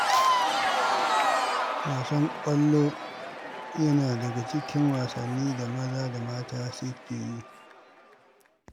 Wasan ƙwallo yana daga cikin wasannin da maza da mata suke yi.